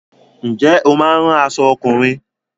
Ǹjẹ́ o máa ń rán aṣọ ọkùnrin?